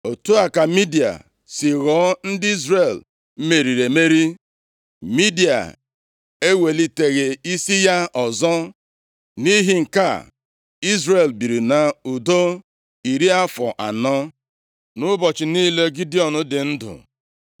Otu a ka Midia si ghọọ ndị Izrel meriri emeri. Midia eweliteghị isi ya ọzọ. Nʼihi nke a, Izrel biri nʼudo iri afọ anọ, nʼụbọchị niile Gidiọn dị ndụ.